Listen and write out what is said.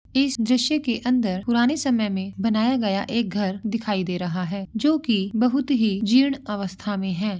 इस दृश्य के अंदर पुराने समय में बनाया गया एक घर दिखाई दे रहा है जो कि बहोत ही जिढ़ अवस्था में है।